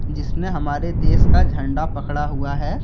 जिसने हमारे देश का झंडा पकड़ा हुआ है।